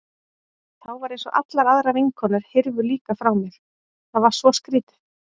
Þá var eins og allar aðrar vinkonur hyrfu líka frá mér, það var svo skrýtið.